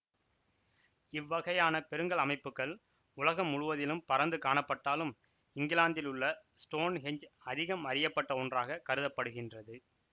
இவ்வகையான பெருங்கல் அமைப்புக்கள் உலகம் முழுவதிலும் பரந்து காணப்பட்டாலும் இங்கிலாந்திலுள்ள ஸ்டோன் ஹெஞ் அதிகம் அறியப்பட்ட ஒன்றாக கருத படுகின்றது